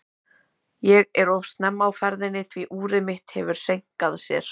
Ég er of snemma á ferðinni, því úrið mitt hefur seinkað sér.